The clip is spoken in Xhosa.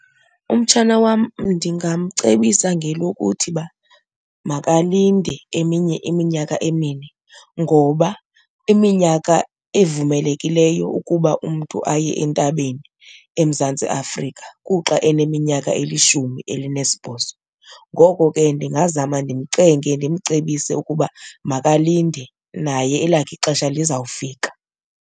Umtshana wam ndingamcebisa ngelokuthi uba makalinde eminye iminyaka emine ngoba iminyaka evumelekileyo ukuba umntu aye entabeni eMzantsi Afrika kuxa eneminyaka elishumi elinesibhozo. Ngoko ke ndingazama ndimcenge ndimcebise ukuba makalinde naye elakhe ixesha lizawufika.